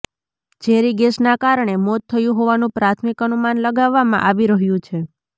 ઝેરી ગેસના કારણે મોત થયું હોવાનું પ્રાથમિક અનુમાન લગાવવામાં આવી રહ્યું છે